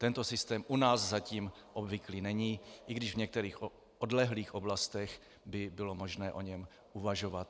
Tento systém u nás zatím obvyklý není, i když v některých odlehlých oblastech by bylo možné o něm uvažovat.